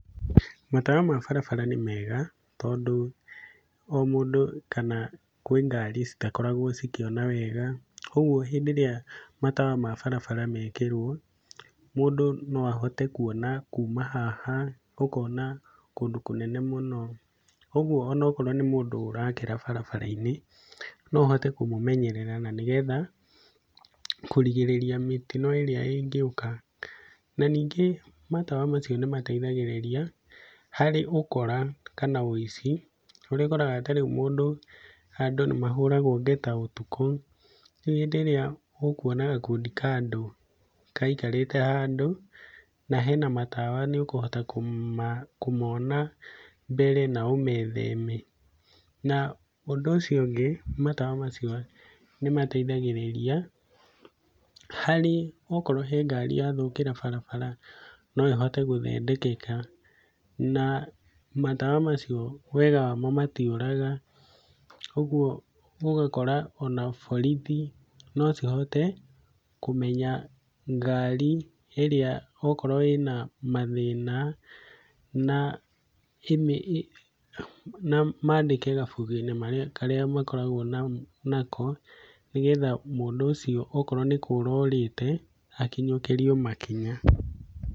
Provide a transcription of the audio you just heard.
Matawa ma barabara nĩ mega tondũ o mũndũ kana kwĩ ngari citakoragwo cikĩona wega. Koguo hĩndĩ ĩrĩa matawa ma barabara mekĩrwo mũndũ no ahote kuona kuma haha ũkona kũndũ kũnene mũno. Ũguo ona okorwo nĩ mũndũ ũrakĩra barabara-inĩ, no ũhote kũmamenyerera na nĩgetha kũrigĩrĩria mĩtino ĩrĩa ĩngĩũka. Na ningĩ matawa macio nĩ mateithagĩrĩria harĩ ũkora kana ũici, ũrĩa ũkoraga ta rĩu mũndũ handũ nĩ mahũragwo ngeta ũtukũ, rĩu hĩndĩ ĩrĩa ũkuona gakundi ka andũ maikarĩte handũ na hena matawa, nĩ ũkũhota kũmona mbere na ũmetheme. Na ũndũ ũcio ũngĩ matawa macio nĩ mateithagĩrĩria harĩ okorwo he ngari yathũkĩra barabara no ĩhote gũthondekeka. Na matawa macio wega wamo matiũraga ũguo ũgakora ona borithi no cihote kũmenya ngari ĩrĩa okorwo ĩna mathĩna, na maandĩke kabuku-inĩ karĩa makoragwo nako, nĩgetha mũndũ ũcio okorwo nĩ kũra orĩte akinyũkĩrio makinya.